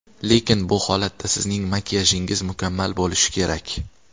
Lekin bu holatda sizning makiyajingiz mukammal bo‘lishi kerak!